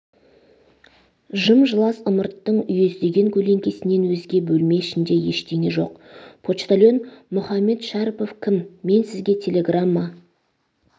жым-жылас ымырттың үйездеген көлеңкесінен өзге бөлме ішінде ештеңе жоқ почтальон мұхаммед шәрпов кім мен сізге телеграмма